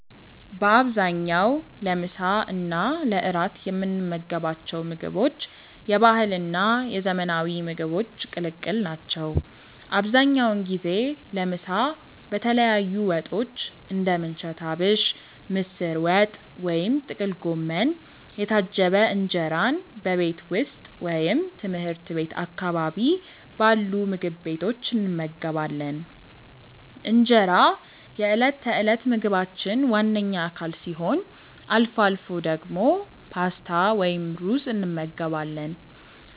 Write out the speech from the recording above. በአብዛኛው ለምሳ እና ለእራት የምንመገባቸው ምግቦች የባህልና የዘመናዊ ምግቦች ቅልቅል ናቸው። አብዛኛውን ጊዜ ለምሳ በተለያዩ ወጦች (እንደ ምንቸት አቢሽ፣ ምስር ወጥ ወይም ጥቅል ጎመን) የታጀበ እንጀራን በቤት ውስጥ ወይም ትምህርት ቤት አካባቢ ባሉ ምግብ ቤቶች እንመገባለን። እንጀራ የዕለት ተዕለት ምግባችን ዋነኛ አካል ሲሆን፣ አልፎ አልፎ ደግሞ ፓስታ ወይም ሩዝ እንመገባለን።